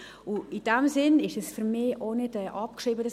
In diesem Sinn ist dieses Geschäft für mich auch nicht abgeschrieben.